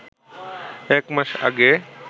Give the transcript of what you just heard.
এক মাস আগে